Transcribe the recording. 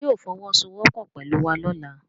Ṣé yóò fọwọ́ sowọ́ pọ̀ pẹ̀lú wa lọ́la?